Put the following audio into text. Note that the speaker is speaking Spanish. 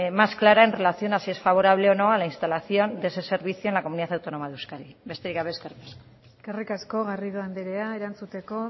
más clara en relación a si es favorable o no a la instalación de ese servicio en la comunidad autónoma de euskadi besterik gabe eskerrik asko eskerrik asko garrido anderea erantzuteko